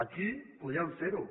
aquí podrien fer ho